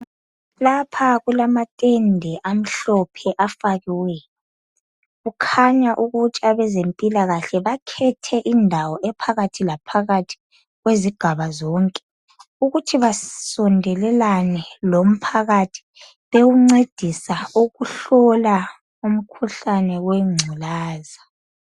Lapha kulama tende amhlophe afakiweyo kukhanya ukutsha kwezempilakahle bakhethe indawo ephakathi laphakathi kwezigaba zonke ukuthi basondelelane lomphakathi bewuncedisa ukuhlola umkhuhlane wengculaza .